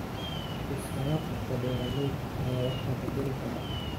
Iska warqabka beeralayda ayaa wax ka bedeli kara.